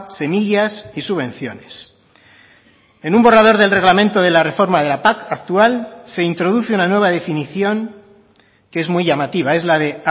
semillas y subvenciones en un borrador del reglamento de la reforma de la pac actual se introduce una nueva definición que es muy llamativa es la de